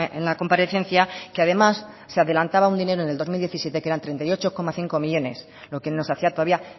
en la comparecencia que además se adelantaba un dinero en el dos mil diecisiete que eran treinta y ocho coma cinco millónes lo que nos hacía todavía